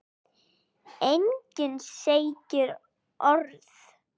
Enginn segir orð.